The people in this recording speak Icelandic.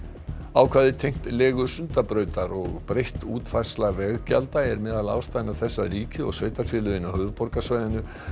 ákvæði tengt legu Sundabrautar og breytt útfærsla veggjalda er meðal ástæðna þess að ríkið og sveitarfélögin á höfuðborgarsvæðinu